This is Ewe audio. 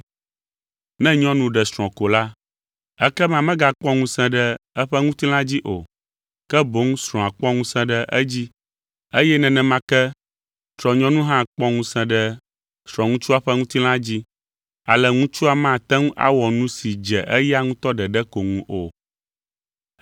Ne nyɔnu ɖe srɔ̃ ko la, ekema megakpɔ ŋusẽ ɖe eƒe ŋutilã dzi o, ke boŋ srɔ̃a kpɔ ŋusẽ ɖe edzi, eye nenema ke srɔ̃nyɔnu hã kpɔ ŋusẽ ɖe srɔ̃ŋutsua ƒe ŋutilã dzi, ale ŋutsua mate ŋu awɔ nu si dze eya ŋutɔ ɖeɖe ko ŋu o.